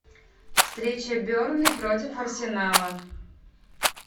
встреча бернли против арсенала